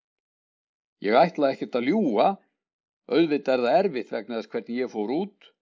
Ég ætla ekkert að ljúga, auðvitað er það erfitt vegna þess hvernig ég fór út.